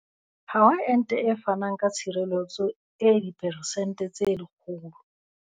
Ha ho ente e fanang ka tshireletso e diperesente tse 100.